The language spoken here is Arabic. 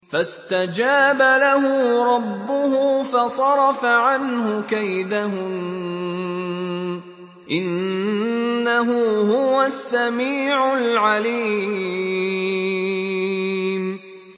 فَاسْتَجَابَ لَهُ رَبُّهُ فَصَرَفَ عَنْهُ كَيْدَهُنَّ ۚ إِنَّهُ هُوَ السَّمِيعُ الْعَلِيمُ